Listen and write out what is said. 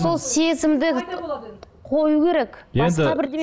сол сезімді қою керек басқа бірдеме